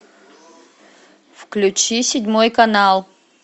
включи седьмой канал